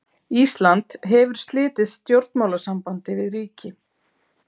Ísland hefur slitið stjórnmálasambandi við ríki.